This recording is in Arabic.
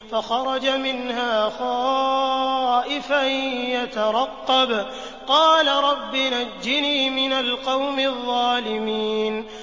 فَخَرَجَ مِنْهَا خَائِفًا يَتَرَقَّبُ ۖ قَالَ رَبِّ نَجِّنِي مِنَ الْقَوْمِ الظَّالِمِينَ